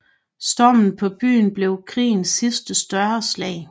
Stormen på byen blev krigens sidste større slag